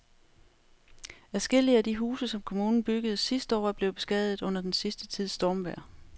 Adskillige af de huse, som kommunen byggede sidste år, er blevet beskadiget under den sidste tids stormvejr.